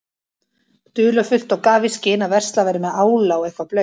dularfullt og gaf í skyn að verslað væri með ála og eitthvað blautt.